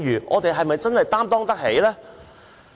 我們是否真的擔當得起？